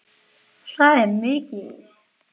Það er mikið.